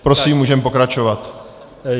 Prosím, můžeme pokračovat.